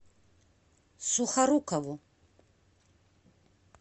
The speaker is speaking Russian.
сухорукову